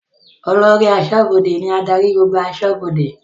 Olórí aṣọ́bọdè ní adarí gbogbo aṣọ́bọdè